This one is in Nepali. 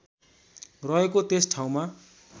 रहेको त्यस ठाउँमा